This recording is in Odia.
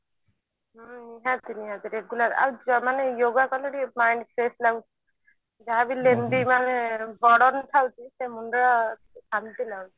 ହୁଁ ନିହାତି ନିହାତି regular ଆଉ ଯ ମାନେ yoga କଲେ ଟିକେ mind fresh ଲାଗୁଛି ଯାହାବି lazy ମାନେ ସେ ମୁଣ୍ଡ ଶାନ୍ତି ଲାଗୁଛି